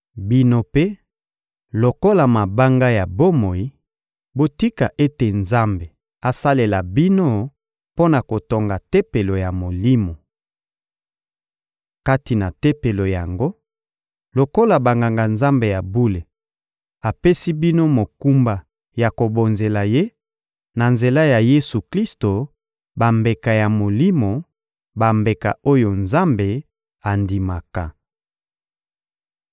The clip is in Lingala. Bino mpe, lokola mabanga ya bomoi, botika ete Nzambe asalela bino mpo na kotonga Tempelo ya Molimo. Kati na Tempelo yango, lokola Banganga-Nzambe ya bule, apesi bino mokumba ya kobonzelaka Ye, na nzela ya Yesu-Klisto, bambeka ya molimo, bambeka oyo Nzambe andimaka.